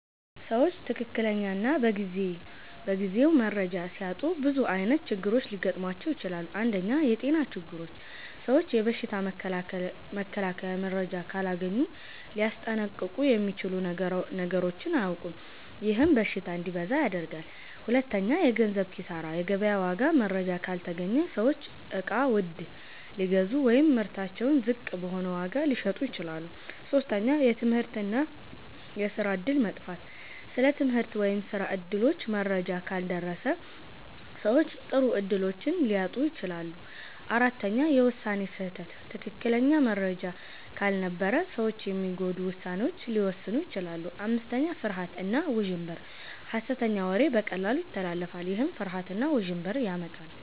ሰዎች ትክክለኛ እና በጊዜው መረጃ ሲያጡ ብዙ ዓይነት ችግሮች ሊገጥሟቸው ይችላሉ። 1. የጤና ችግሮች ሰዎች የበሽታ መከላከያ መረጃ ካላገኙ ሊያስጠንቀቁ የሚችሉ ነገሮችን አያውቁም፤ ይህም በሽታ እንዲበዛ ያደርጋል። 2. የገንዘብ ኪሳራ የገበያ ዋጋ መረጃ ካልተገኘ ሰዎች እቃ ውድ ሊገዙ ወይም ምርታቸውን ዝቅ በሆነ ዋጋ ሊሸጡ ይችላሉ። 3. የትምህርት እና የስራ እድል መጥፋት ስለ ትምህርት ወይም ስራ እድሎች መረጃ ካልደረሰ ሰዎች ጥሩ እድሎችን ሊያጡ ይችላሉ። 4. የውሳኔ ስህተት ትክክለኛ መረጃ ካልነበረ ሰዎች የሚጎዱ ውሳኔዎችን ሊወስኑ ይችላሉ። 5. ፍርሃት እና ውዥንብር ሐሰተኛ ወሬ በቀላሉ ይተላለፋል፤ ይህም ፍርሃት እና ውዥንብር ያመጣል።